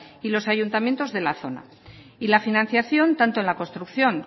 y los ayuntamientos de la zona y la financiación tanto en la construcción